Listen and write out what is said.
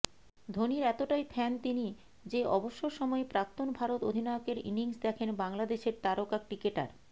ধোনির এতটাই ফ্যান তিনি যে অবসর সময়ে প্রাক্তন ভারত অধিনায়কের ইনিংস দেখেন বাংলাদেশের তারকা ক্রিকেটার